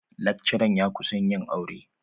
Lakcaran ya kusan yin aure.